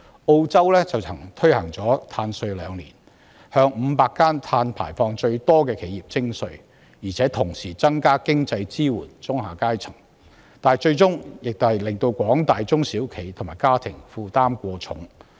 澳洲曾推行碳稅兩年，向500間碳排放量最高的企業徵稅，同時增加對中下階層的經濟支援，但最終仍導致廣大中小企和家庭負擔過重。